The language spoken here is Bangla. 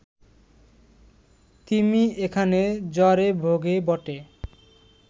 তিমি এখানে জ্বরে ভোগে বটে